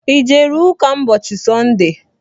I jere ụka ụbọchị Sọnde?